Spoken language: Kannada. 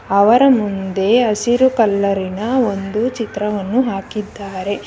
ಅವರ ಮುಂದೆ ಹಸಿರು ಕಲರಿ ನ ಒಂದು ಚಿತ್ರವನ್ನು ಹಾಕಿದ್ದಾರೆ.